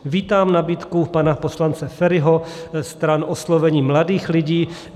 Vítám nabídku pana poslance Feriho stran oslovení mladých lidí.